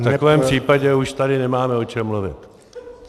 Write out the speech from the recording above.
V takovém případě už tady nemáme o čem mluvit.